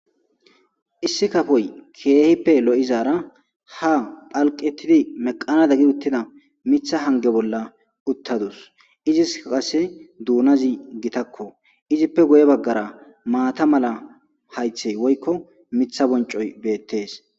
Issi kafoy keehippe lo7izaara ha phalqetidi meqanada gi uttida mitha hange bolla uttadus. iziska qase duunazi gitakko izippe guye baggara maata mala haythey woykko mitha boncoy beettees.